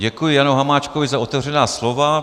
Děkuji Janu Hamáčkovi za otevřená slova.